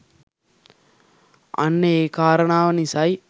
අන්න ඒ කාරනාව නිසයි